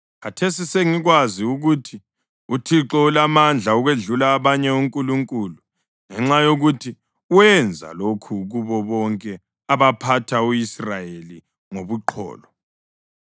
Khathesi sengikwazi ukuthi uThixo ulamandla ukwedlula abanye onkulunkulu ngenxa yokuthi wenza lokhu kubo bonke abaphatha u-Israyeli ngobuqholo.”